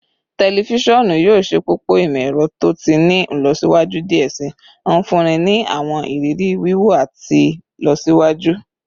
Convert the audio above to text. Tẹlifisiọnu yoo ṣepọpọ imọ-ẹrọ to ti ni ilọsiwaju diẹ sii, nfunni ni awọn iriri wiwo ti ilọsiwaju